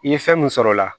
I ye fɛn mun sɔrɔ o la